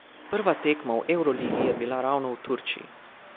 Prva tekma v evroligi je bila ravno v Turčiji.